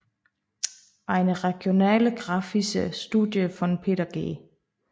Eine regionalgeographische Studie von Peter G